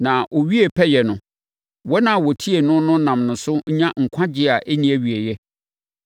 Na ɔwiee pɛyɛ no, wɔn a wɔtie no no nam ne so nya nkwagyeɛ a ɛnni awieeɛ,